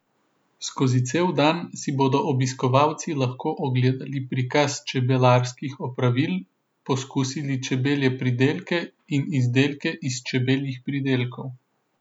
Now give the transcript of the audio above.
Skozi cel dan si bodo obiskovalci lahko ogledali prikaz čebelarskih opravil, poskusili čebelje pridelke in izdelke iz čebeljih pridelkov.